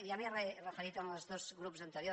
ja m’hi he referit amb els dos grups anteriors